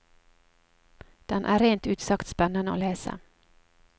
Den er rent ut sagt spennende å lese.